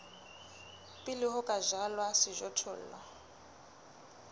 pele ho ka jalwa sejothollo